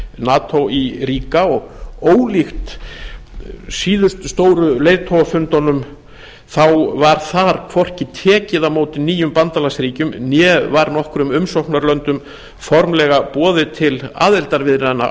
nato í ríga og ólíkt síðustu stóru leiðtogafundunum var þar hvorki tekið á móti nýjum bandalagsríkjum né var nokkrum umsóknarlöndum formlega boðið til aðildarviðræðna